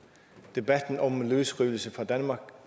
debatten om løsrivelse fra danmark